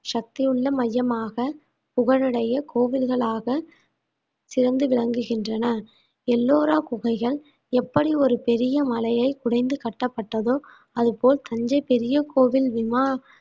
சக்தியுள்ள மையமாக புகழுடைய கோவில்களாக சிறந்து விளங்குகின்றன எல்லோரா குகைகள் எப்படி ஒரு பெரிய மலையை குடைந்து கட்டப்பட்டதோ அது போல் தஞ்சை பெரிய கோவில் விமா~